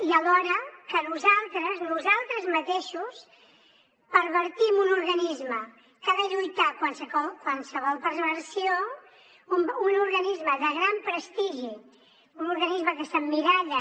i alhora que nosaltres nosaltres mateixos pervertim un organisme que ha de lluitar contra qualsevol perversió un organisme de gran prestigi un organisme que s’emmiralla